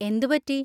എന്ത് പറ്റി?